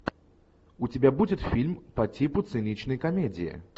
у тебя будет фильм по типу циничной комедии